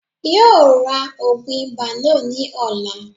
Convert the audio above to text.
Yóò ra ògùn ibà náà ní ọ̀la